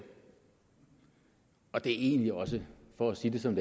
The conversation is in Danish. og det er egentlig også for at sige det som